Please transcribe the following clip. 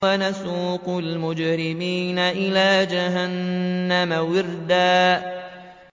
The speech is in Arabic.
وَنَسُوقُ الْمُجْرِمِينَ إِلَىٰ جَهَنَّمَ وِرْدًا